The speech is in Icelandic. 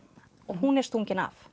hún er stungin af